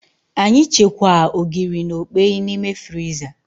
Anyị chekwaa Ogiri na okpeyi na ime friza